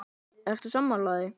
Eru sammála því?